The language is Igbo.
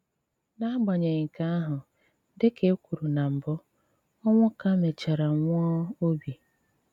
N'agbanyeghị nkè àhụ, dị kà è kwùrù nà mbụ, Onwuka mèchàrà nwụà òbì.